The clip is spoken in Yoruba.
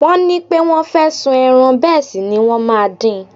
Wọ́n ní pé wọ́n fẹ́ sun ẹran bẹ́ẹ̀ sì ni wọ́n máa din.